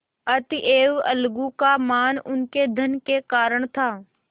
अतएव अलगू का मान उनके धन के कारण था